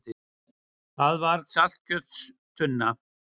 Það var saltkjötstunna.